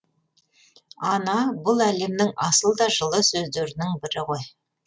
ана бұл әлемнің асыл да жылы сөздерінің бірі ғой